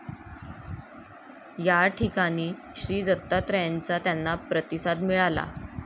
या ठिकाणी श्रीदत्तात्रेयांचा त्यांना प्रतिसाद मिळाला.